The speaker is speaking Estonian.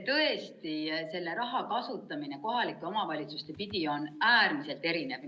Tõesti, selle raha kasutamine on kohalikes omavalitsustes äärmiselt erinev.